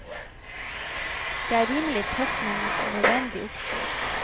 Det er en rimelig tøff, men nødvendig oppskrift.